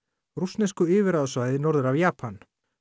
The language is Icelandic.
rússnesku yfirráðasvæði norður af Japan